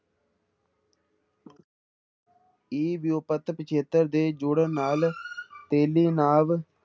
ਹੀ ਵਿਊਪਤ ਪਿੱਛੇਤਰ ਦੇ ਜੁੜਨ ਨਾਲ ਤੇਲੀ ਨਾਵ